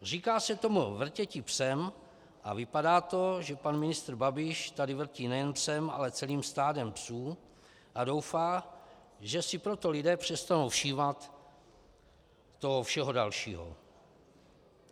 Říká se tomu "vrtěti psem" a vypadá to, že pan ministr Babiš tady vrtí nejen psem, ale celým stádem psů a doufá, že si proto lidé přestanou všímat toho všeho dalšího.